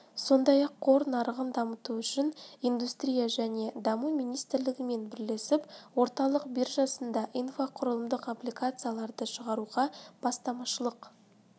сондай-ақ қор нарығын дамыту үшін индустрия және даму министрлігімен бірлесіп орталық биржасында инфрақұрылымдық облигацияларды шығаруға бастамашылық